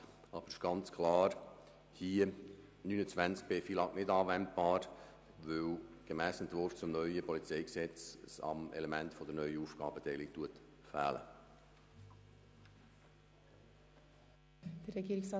Der kantonale Betrag für die Prämienverbilligungen ist jährlich um die durchschnittliche Erhöhung der Krankenkassenprämien zu erhöhen, was im Kanton Bern für 2018 CHF 2,84 Millionen entspricht.